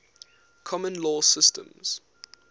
common law systems